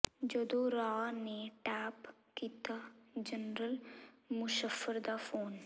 ਜਦੋਂ ਰਾਅ ਨੇ ਟੈਪ ਕੀਤਾ ਜਨਰਲ ਮੁਸ਼ੱਰਫ਼ ਦਾ ਫ਼ੋਨ